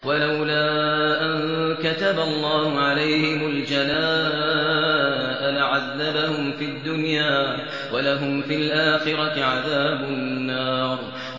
وَلَوْلَا أَن كَتَبَ اللَّهُ عَلَيْهِمُ الْجَلَاءَ لَعَذَّبَهُمْ فِي الدُّنْيَا ۖ وَلَهُمْ فِي الْآخِرَةِ عَذَابُ النَّارِ